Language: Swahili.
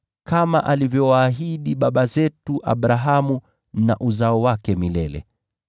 Abrahamu na uzao wake milele, kama alivyowaahidi baba zetu.”